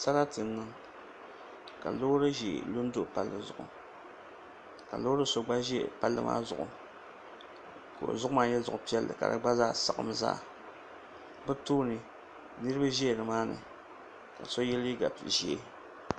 Sarati n niŋ ka loori ʒiɛ lu n do palli zuɣu ka loori so gba ʒɛ palli maa zuɣu ka o zuɣu maa nyɛ zuɣu piɛlli ka gba zaa saɣam zaa bi tooni niraba ʒɛ nimaani ka so yɛ liiga ʒiɛ